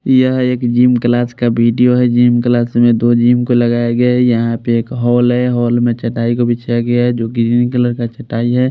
यह एक gym class का वीडियो है जिम क्लास में दो जिम को लगाया गया है यहाँ पे एक हॉल है हॉल में चटाई को बिछाया गया है जो ग्रीन कलर का चटाई है।